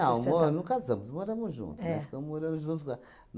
Não, mo, não casamos, moramos juntos. Nós ficamos morando juntos a